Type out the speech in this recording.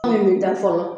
An bɛ da fɔlɔ